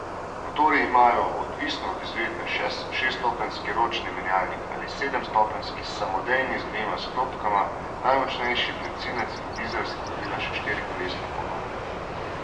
Motorji imajo odvisno od izvedbe šeststopenjski ročni menjalnik ali sedemstopenjski samodejni z dvema sklopkama, najmočnejši bencinec in dizel sta dobila še štirikolesni pogon.